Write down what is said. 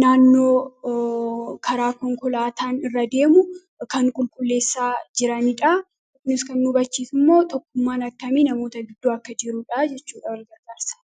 naannoo karaa konkolaataan irra deemu kan qulkulleessaa jiraniidha. Kunis kan nuu bachiisu immoo tokkummaan akkamii namoota gidduu akka jiruudha jechuudha walgargaarsa.